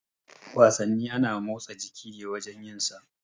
Wasanni ana motsa jiki ne wajan yin sa.